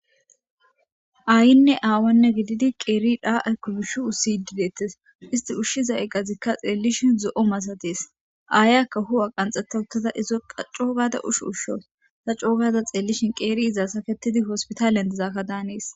Aayinne aawunne gididi qeeri yidhdhaa aykko yuushshi ussiiddi deeththes;isththi ushshiza iqathikka tha xeellishin zo7o masathes;aayikka huu7iya qanxxeththa uththada izokka coo gaada usho ushshawus;tha coo gaada xeellishen qeeri iza sakeththidi hospithaliyan dizaabadan hanees.